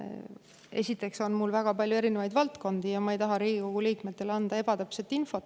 Esiteks on mul väga palju erinevaid valdkondi ja ma ei taha Riigikogu liikmetele anda ebatäpset infot.